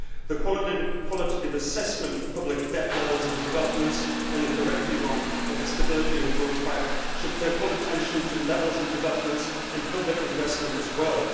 the qualitative assessment of public debt levels and developments in the corrective arm of the Stability and Growth Pact should pay full attention to levels and developments in public investment as well